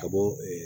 Ka bɔ